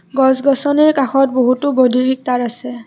গছ-গছনিৰে কাষত বহুতো বৈদ্যুতিক তাঁৰ আছে।